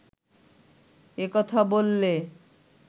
এ কথা বললে